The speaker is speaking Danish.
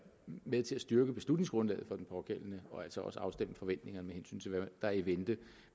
med til at styrke beslutningsgrundlaget for den pågældende og altså også afstemme forventningerne med hensyn til hvad der er i vente